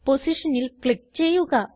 പൊസിഷനിൽ ക്ലിക്ക് ചെയ്യുക